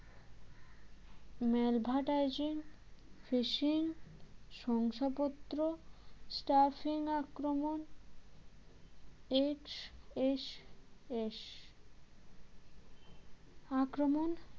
malvertising fishing শংসাপত্র stuffing আক্রমণ HSS আক্রমণ